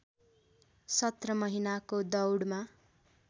सत्र महिनाको दौडमा